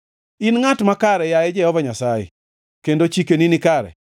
In ngʼat makare, yaye Jehova Nyasaye, kendo chikeni nikare.